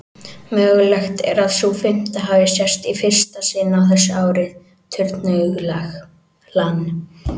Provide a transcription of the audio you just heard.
Mögulegt er að sú fimmta hafi sést í fyrsta sinn á þessu ári, turnuglan.